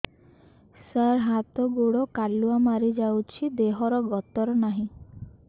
ସାର ହାତ ଗୋଡ଼ କାଲୁଆ ମାରି ଯାଉଛି ଦେହର ଗତର ନାହିଁ